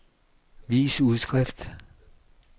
vis udskrift